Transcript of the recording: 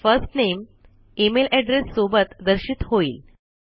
first name email address सोबत दर्शित होईल